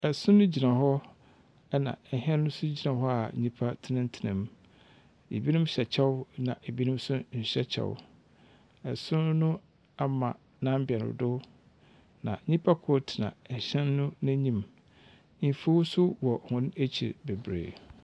Sono gyina hɔ, ɛnna hɛn nso gyina hɔ a nnipa tsenatsenam. Ebinom hyɛ kyɛw, ɛnna ebinom nso nhyɛ kyɛw. Ɛsono no ama n'ambɛn so, na nyimpa kor tsena hyɛ no n'enyim. Mfuw nso wɔ hɔn ekyir bebree.